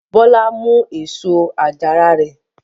Bọ́lá mú èso àjàrà rẹ?